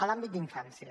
l’àmbit d’infància